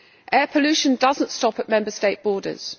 Air pollution does not stop at Member State borders.